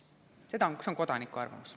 See on kodaniku arvamus.